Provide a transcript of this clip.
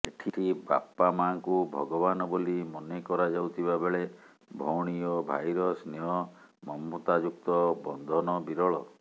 ଏଠି ବାପାମାଙ୍କୁ ଭଗବାନ ବୋଲି ମନେ କରାଯାଉଥିବାବେଳେ ଭଉଣୀ ଓ ଭାଇର ସ୍ନେହ ମମତାଯୁକ୍ତ ବନ୍ଧନ ବିରଳ